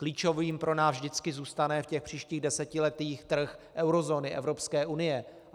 Klíčovým pro nás vždycky zůstane v těch příštích desetiletích trh eurozóny, Evropské unie.